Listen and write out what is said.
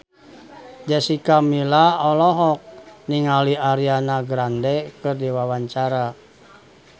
Jessica Milla olohok ningali Ariana Grande keur diwawancara